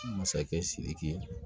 Masakɛ sidiki